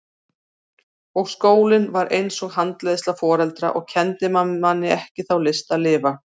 Og skólinn var eins og handleiðsla foreldra og kenndi manni ekki þá list að lifa.